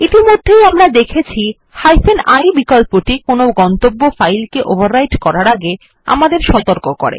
ইতিমধ্যে আমরা দেখেছি I বিকল্পটি কোনো গন্তব্য ফাইল কে ওভাররাইট করার আগে আমাদের সতর্ক করে